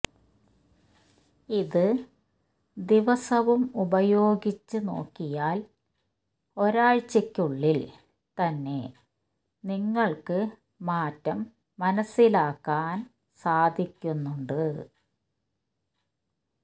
ഇത് ദിവസവും ഉപയോഗിച്ച് നോക്കിയാല് ഒരാഴ്ചക്കുള്ളില് തന്നെ നിങ്ങള്ക്ക് മാറ്റം മനസ്സിലാക്കാന് സാധിക്കുന്നുണ്ട്